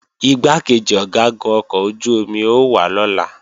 Igbákejì Ọ̀gágun ọkọ̀ ojú-omi ó wá lọ́la